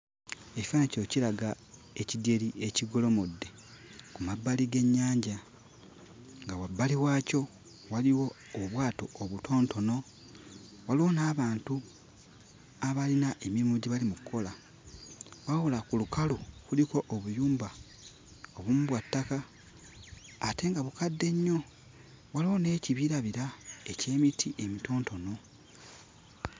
Ekifaananyi kino kiraga ekidyeri ekigolomodde ku mabbali g'ennyanja nga wabbali waakyo waliwo obwato obutonotono, waliwo n'abantu abalina emirimu gye bali mu kkola. Wabula ku lukalu kuliko obuyumba, obumu bwa ttaka ate nga bukadde nnyo; waliwo n'ekibirabira eky'emiti emitonotono.